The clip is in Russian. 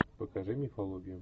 покажи мифологию